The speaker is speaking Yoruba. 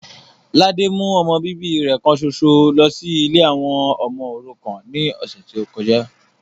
Ladé mú ọmọ bíbí rẹ kan ṣoṣo lọ sí ilé àwọn ọmọ òrukàn ní ọ̀sẹ̀ tí ó kọjá